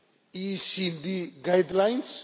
the OECD guidelines.